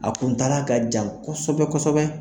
A kuntala ka jan kɔsɛbɛ kɔsɛbɛ